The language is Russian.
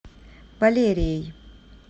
валерией